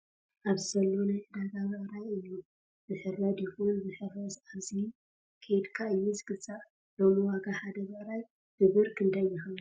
ኣብዚ ዘሎ ናይ ዕዳጋ ብዕይ እዩ:: ዝሕረድ ይኩን ዝሕረስ ኣብዚ ከድካ እዩ ዝግዛእ::ሎሚ ዋጋ ሓደ ብዕራይ ብበር ክንዳይ ይከውን ?